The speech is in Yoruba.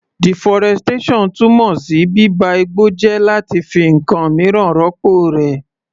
Deforestation túmọ̀ sí bíba igbó jẹ́ láti fi ǹkan míràn rọ́pọ̀ rẹ̀.